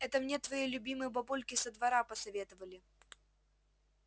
это мне твои любимые бабульки со двора посоветовали